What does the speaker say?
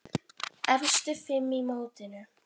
Efstu fimm í mótinu